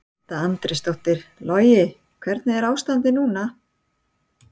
Edda Andrésdóttir: Logi hvernig er ástandið núna?